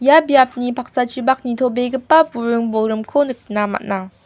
ia biapni paksachipak nitobegipa buring bolgrimko nikna man·a.